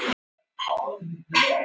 Björgun hefst á miðvikudag